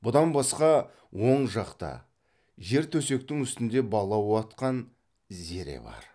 бұдан басқа оң жақта жер төсектің үстінде бала уатқан зере бар